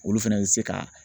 Olu fɛnɛ bɛ se ka